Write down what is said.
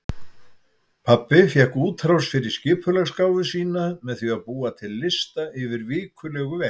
Pabbi fékk útrás fyrir skipulagsgáfu sína með því að búa til lista yfir vikulegu verkin.